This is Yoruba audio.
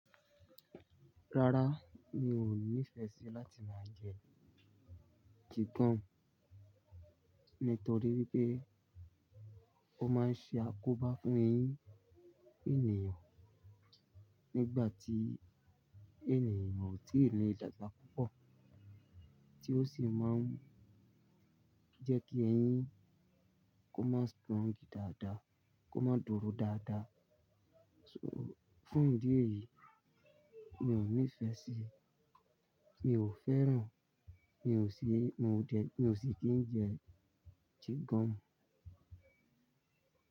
Rárá, mi ò nífẹ̀ẹ́ sí láti máa jẹ chicken nítorí wípé ó máa ń ṣe àkóbá fún eyín ènìyàn nígbà tí ènìyàn ò tí ì lè dàgbà púpọ̀, tí ó sì máa ń jẹ́ kí eyín kó má strong dáadáa, kó má dúró dáadáa. So, fún ìdí èyí, mi ò nífẹ̀ẹ́ sí, mi ò fẹ́ràn, mi ò sí, moo dẹ̀, mi ò sì kí ń jẹ ṣhin gọmu.